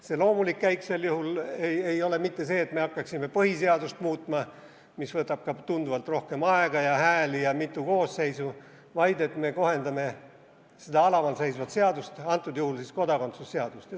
Sel juhul ei ole loomulik käik mitte see, et me hakkaksime põhiseadust muutma – mis võtab ka tunduvalt rohkem aega ja hääli ja mitu koosseisu –, vaid et me kohendame seda alamal seisvat seadust, antud juhul siis kodakondsuse seadust.